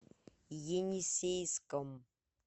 енисейском